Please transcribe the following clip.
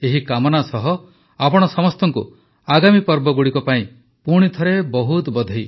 ଏହି କାମନା ସହ ଆପଣ ସମସ୍ତଙ୍କୁ ଆଗାମୀ ପର୍ବଗୁଡ଼ିକ ପାଇଁ ପୁଣିଥରେ ବହୁତ ବଧେଇ